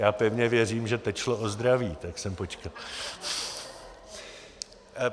Já pevně věřím, že teď šlo o zdraví, tak jsem počkal.